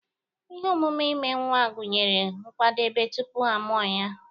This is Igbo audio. Ihe omume ime nwa gụnyere nkwadebe tupu a mụọ nwa